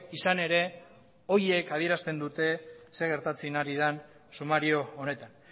izan ere horiek adierazten dute zer gertatzen ari den sumario honetan